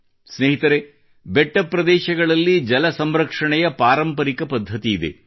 ಸ್ನೇಹಿತರೆ ಬೆಟ್ಟ ಪ್ರದೇಶಗಳಲ್ಲಿ ಜಲ ಸಂರಕ್ಷಣೆಯ ಪಾರಂಪರಿಕ ಪದ್ಧತಿಯಿದೆ